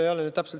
Aitäh!